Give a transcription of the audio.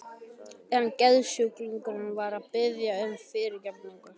En geðsjúklingurinn var að biðja um fyrirgefningu.